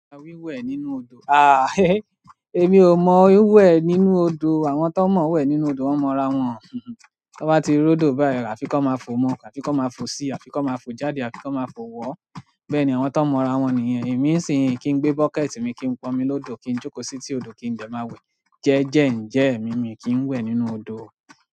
Wíwẹ̀ nínú odò, èmi ò mọ wín wẹ̀ nínú odò. Àwọn tó mọ̀ wẹ̀ nínú odò, wọ́n mọ ra wọn. Tí wọ́n bá ti rọ́dò báyìí rà, àfiko máa fo mọ́, àfiko máa fo síi, àfiko máa fo jáde, àfiko máa fo wọ́. Bẹ́ẹ̀ ni àwọn tó mọ̀ ra wọn nìyẹn. Èmi sìń kín gbé bọ́kẹ̀tì mi kín pọnmi lọ́dọ̀, kí ń jókòó setí odò kí ń dẹ́ máa wẹ̀. Jeje nje mi mio ki n we nínú odo.